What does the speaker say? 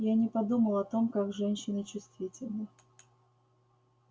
я не подумал о том как женщины чувствительны